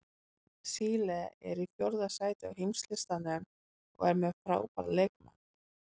Síle er í fjórða sæti á heimslistanum og er með frábæra leikmenn.